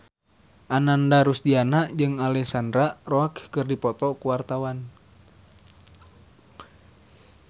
Ananda Rusdiana jeung Alexandra Roach keur dipoto ku wartawan